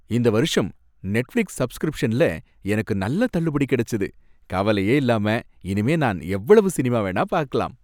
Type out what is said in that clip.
இந்த வருஷம் நெட்ஃபிளிக்ஸ் சப்ஸ்கிரிப்ஷன்ல எனக்கு நல்ல தள்ளுபடி கிடைச்சுது. கவலையே இல்லாம இனிமே நான் எவ்வளவு சினிமா வேணா பாக்கலாம்.